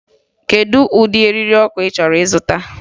Kedu ụdị eriri ọkụ ị chọrọ ịzụta?